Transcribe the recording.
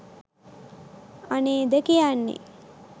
අනේද කියන්නේ